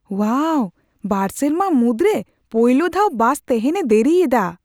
ᱳᱣᱟᱣ, ᱵᱟᱨ ᱥᱮᱨᱢᱟ ᱢᱩᱫᱨᱮ ᱯᱩᱭᱞᱩ ᱫᱷᱟᱣ ᱵᱟᱥ ᱛᱮᱦᱮᱧ ᱮ ᱫᱮᱨᱤᱭᱮᱫᱟ ᱾